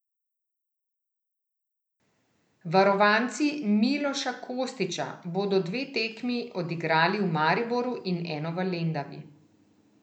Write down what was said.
Varovanci Miloša Kostića bodo dve tekmi odigrali v Mariboru in eno v Lendavi.